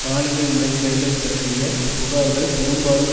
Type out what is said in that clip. பாலியல் முறைகேடுகள் பற்றிய புகார்கள் பெரும்பாலும்